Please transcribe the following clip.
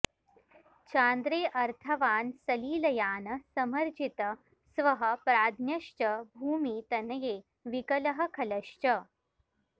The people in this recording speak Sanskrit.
चान्द्रे अर्थवान् सलिलयान समर्जित स्वः प्राज्ञश्च भूमि तनये विकलः खलश्च